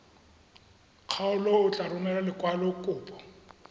kgaolo o tla romela lekwalokopo